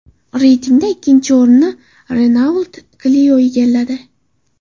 Reytingda ikkinchi o‘rinni Renault Clio egalladi.